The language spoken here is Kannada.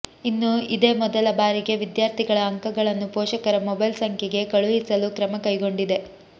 ಇನ್ನು ಇದೇ ಮೊದಲ ಬಾರಿಗೆ ವಿದ್ಯಾರ್ಥಿಗಳ ಅಂಕಗಳನ್ನು ಪೋಷಕರ ಮೊಬೈಲ್ ಸಂಖ್ಯೆಗೆ ಕಳುಹಿಸಲು ಕ್ರಮ ಕೈಗೊಂಡಿದೆ